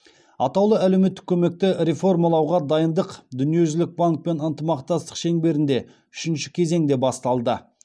атаулы әлеуметтік көмекті реформалауға дайындық дүниежүзілік банкпен ынтымақтастық шеңберінде үшінші кезеңде басталды